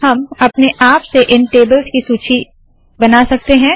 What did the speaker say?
हम अपने आप से इल टेबल्स की सूची बना सकते है